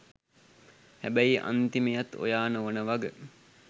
හැබැයි අන්තිමයත් ඔයා නොවෙන වග